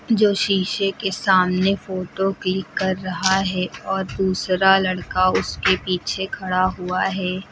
जो शीशे के सामने फोटो क्लिक कर रहा है और दूसरा लड़का उसके पीछे खड़ा हुआ है।